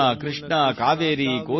ನಮ್ಮ ದೇಶ ಶ್ರೇಷ್ಠವಾದುದು ಸೋದರಾ